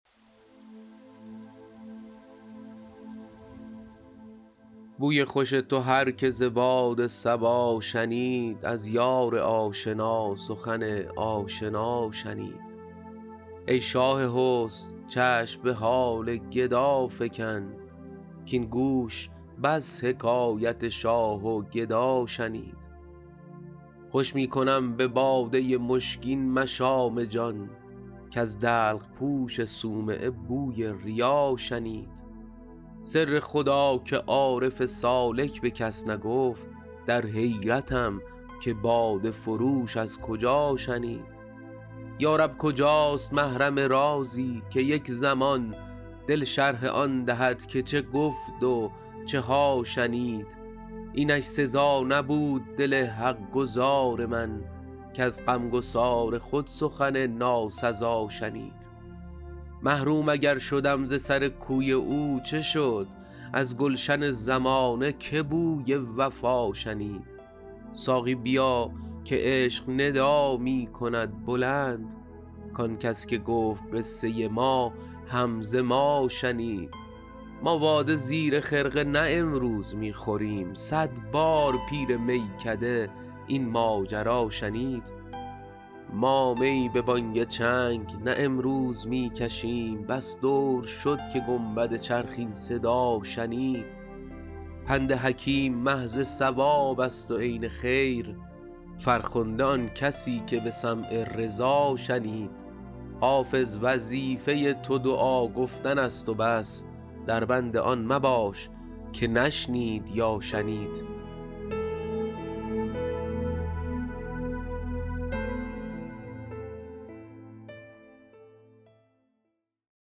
بوی خوش تو هر که ز باد صبا شنید از یار آشنا سخن آشنا شنید ای شاه حسن چشم به حال گدا فکن کـاین گوش بس حکایت شاه و گدا شنید خوش می کنم به باده مشکین مشام جان کز دلق پوش صومعه بوی ریا شنید سر خدا که عارف سالک به کس نگفت در حیرتم که باده فروش از کجا شنید یا رب کجاست محرم رازی که یک زمان دل شرح آن دهد که چه گفت و چه ها شنید اینش سزا نبود دل حق گزار من کز غمگسار خود سخن ناسزا شنید محروم اگر شدم ز سر کوی او چه شد از گلشن زمانه که بوی وفا شنید ساقی بیا که عشق ندا می کند بلند کان کس که گفت قصه ما هم ز ما شنید ما باده زیر خرقه نه امروز می خوریم صد بار پیر میکده این ماجرا شنید ما می به بانگ چنگ نه امروز می کشیم بس دور شد که گنبد چرخ این صدا شنید پند حکیم محض صواب است و عین خیر فرخنده آن کسی که به سمع رضا شنید حافظ وظیفه تو دعا گفتن است و بس در بند آن مباش که نشنید یا شنید